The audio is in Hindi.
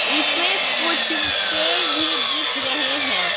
इसमें कुछ पेर भी दिख रहे हैं।